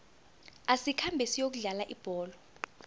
asikhambe siyokudlala ibholo